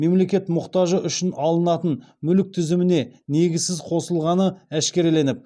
мемлекет мұқтажы үшін алынатын мүлік тізіміне негізсіз қосылғаны әшкереленіп